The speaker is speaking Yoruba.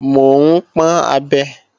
Mò ń pọ́n abẹ